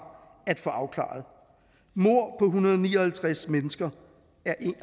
at få afklaret mord på en hundrede og ni og halvtreds mennesker